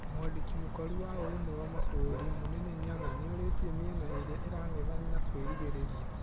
Mwandĩki mũkaru wa ũrũmwe wa mabũrũri Mũnene Nyaga nĩorĩtie mĩena ĩrĩa ĩrang'ethanĩra kwĩrigĩrĩria.